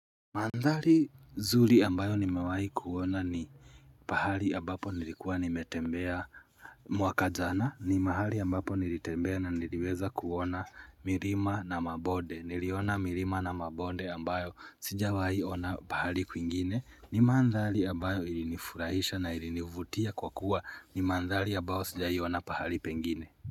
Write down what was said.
Mandhari zuli ambayo nimewahi kuona ni pahali ambapo nilikuwa nimetembea mwaka jana ni mahali ambapo nilitembea na niliweza kuona mirima na mabonde niliona mirima na mabonde ambayo sijawahi ona pahali kwingine ni mandhari ambayo ilinifurahisha na ilinivutia kwa kuwa ni mandhari ambayo sijai ona pahali pengine.